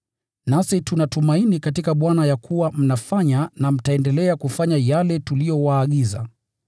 Nasi tuna tumaini katika Bwana ya kuwa mnafanya na mtaendelea kufanya yale tuliyowaagiza.